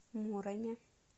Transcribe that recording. муроме